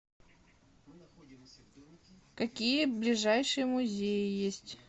какие ближайшие музеи есть